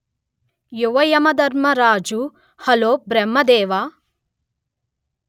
యువయమధర్మరాజు హలోబ్రహ్మ దేవా